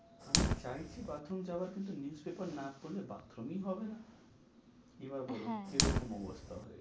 আমি চাইছি bathroom যাওয়ার কিন্তু news paper না পড়লে bathroom ই হবে না, এবার বলো হ্যাঁ কি রকম অবস্থা হয়েছে?